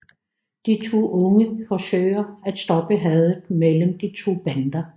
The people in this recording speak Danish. De to unge forsøger at stoppe hadet mellem de to bander